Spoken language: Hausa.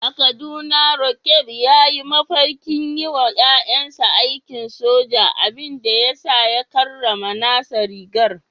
A Kaduna, Roqeeb ya yi mafarkin yi wa ‘ya’yansa aikin soja, abin da ya sa ya karrama nasa rigar.